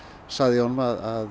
sagði ég honum að